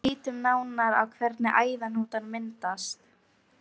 En lítum nánar á hvernig æðahnútar myndast.